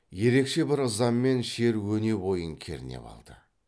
ерекше бір ыза мен шер өне бойын кернеп алды